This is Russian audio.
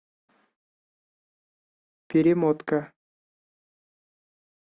перемотка